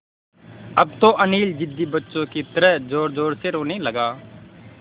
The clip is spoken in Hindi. अब तो अनिल ज़िद्दी बच्चों की तरह ज़ोरज़ोर से रोने लगा